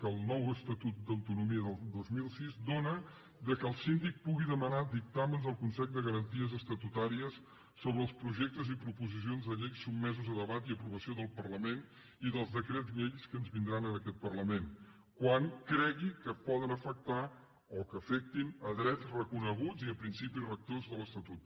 que el nou estatut d’autonomia del dos mil sis dóna perquè el síndic pugui demanar dictàmens al consell de garanties estatutàries sobre els projectes i proposicions de llei sotmesos a debat i a aprovació del parlament i dels decrets llei que ens vindran a aquest parlament quan cregui que poden afectar o que afectin drets reconeguts i principis rectors de l’estatut